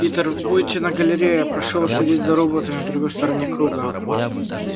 питер вы будете на галерее и я прошу вас следить за роботами на другой стороне круга